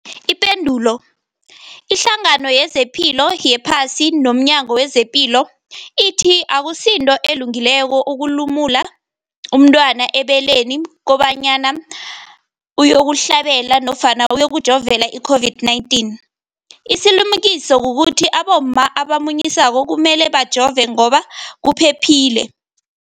Ipendulo, iHlangano yezePilo yePhasi nomNyango wezePilo ithi akusinto elungileko ukulumula umntwana ebeleni kobanyana uyokuhlabela nofana uyokujovela i-COVID-19. Isilimukiso kukuthi abomma abamunyisako kumele bajove ngoba kuphephile.